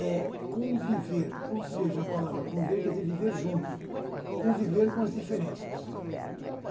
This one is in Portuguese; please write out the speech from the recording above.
É conviver, ou seja, a palavra conviver quer dizer viver junto, conviver com as diferenças.